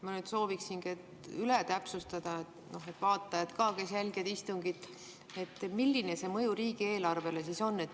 Ma nüüd sooviksingi üle täpsustada, et ka vaatajad, kes jälgivad istungit,, milline see mõju riigieelarvele siis on.